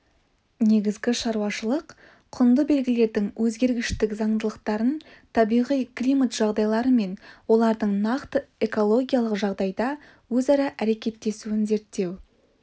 негізгі шаруашылық-құнды белгілердің өзгергіштік заңдылықтарын табиғи-климат жағдайлары мен олардың нақты экологиялық жағдайда өзара әрекеттесуін зерттеу